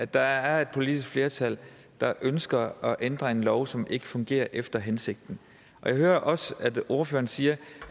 der er et politisk flertal der ønsker at ændre en lov som ikke fungerer efter hensigten og jeg hører også at ordføreren siger